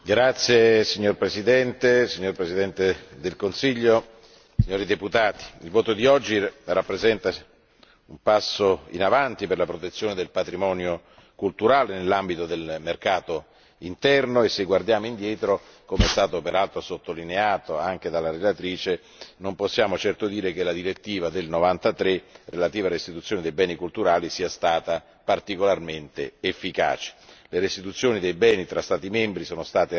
Signora Presidente, signor Presidente del Consiglio, onorevoli deputati, il voto di oggi rappresenta un passo in avanti per la protezione del patrimonio culturale nell'ambito del mercato interno e, se guardiamo indietro, come peraltro sottolineato anche dalla relatrice, non possiamo certo dire che la direttiva del 1993 relativa alla restituzione dei beni culturali sia stata particolarmente efficace. Le restituzioni dei beni fra Stati membri sono state rare